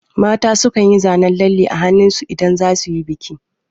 Mata su kan yi zanen lalle a hannun su idan za su yi biki